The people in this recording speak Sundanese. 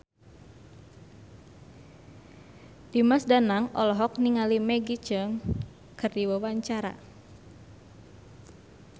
Dimas Danang olohok ningali Maggie Cheung keur diwawancara